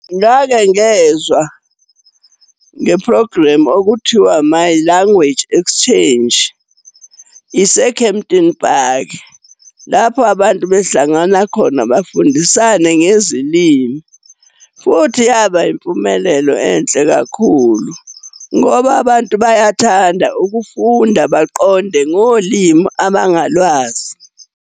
Ngake ngezwa nge-program okuthiwa, My Language Exchange, ise-Campton Park. Lapho abantu behlangana khona bafundisane ngezilimi. Futhi yaba impumelelo enhle kakhulu ngoba abantu bayathanda ukufunda, baqonde ngolimi abangalwazi.